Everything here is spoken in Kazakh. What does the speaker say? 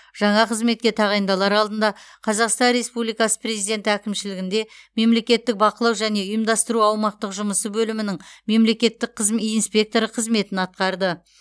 жаңа қызметке тағайындалар алдында қазақстан республикасы президенті әкімшілігінде мемлекеттік бақылау және ұйымдастыру аумақтық жұмысы бөлімінің мемлекеттік қызме инспекторы қызметін атқарды